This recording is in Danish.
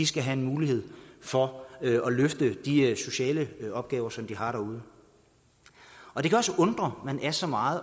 skal have en mulighed for at løfte de sociale opgaver som de har derude det kan også undre at man er så meget